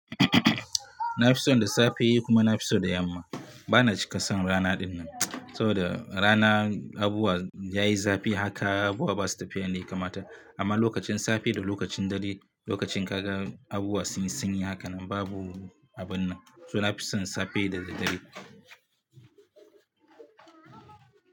Na fi son da safe yi kuma na fi so da yamma. Ba na cika son rana dinnan, saboda rana abubuwa yayi zafi haka abubuwa ba su tafiya yanda ya kamata. Amma lokacin safe da lokacin dare, lokacin kagan abubuwa sunyi sanyi hakanan babu abun nan. To na fi son safe da dare.